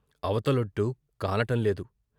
అవతలొడ్డు కానటంలేదు.